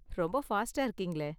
ரொம்ப ஃபாஸ்ட்டா இருக்கீங்களே!